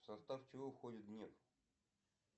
в состав чего входит нефть